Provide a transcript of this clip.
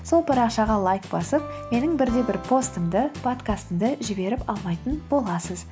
сол парақшаға лайк басып менің бір де бір постымды подкастымды жіберіп алмайтын боласыз